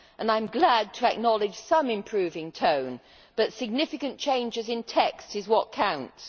I am glad to acknowledge some improving tone, but significant changes in texts is what counts.